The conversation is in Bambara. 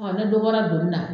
Ɔ i bara dɔ bɔra donin na.